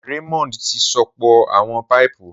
Raymond ti sopọ awọn paipu.